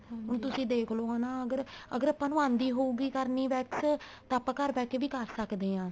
ਹੁਣ ਤੁਸੀਂ ਦੇਖਲੋ ਹਨਾ ਅਗਰ ਅਗਰ ਆਪਾਂ ਨੂੰ ਆਂਦੀ ਹੋਉਗੀ ਕਰਨੀ wax ਤਾਂ ਆਪਾਂ ਘਰ ਬੈਠ ਕੇ ਵੀ ਕਰ ਸਕਦੇ ਹਾਂ